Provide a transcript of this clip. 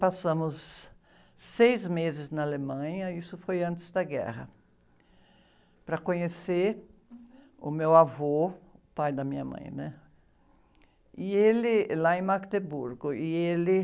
Passamos seis meses na Alemanha, isso foi antes da guerra, para conhecer o meu avô, pai da minha mãe, né? E ele, lá em. E ele...